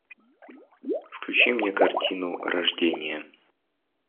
включи мне картину рождение